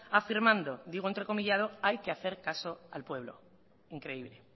afirmando digo entrecomillado hay que hacer caso al pueblo increíble